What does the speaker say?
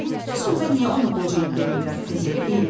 Bəs onda niyə ona qoca il demirlər, təzə il deyirlər?